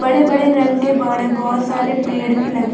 बड़े-बड़े रंग के बड़े बहोत सारे पेड़ भी लगे है।